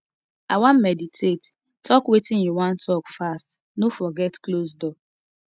i wan meditate talk wetin you wan talk fast no forget close door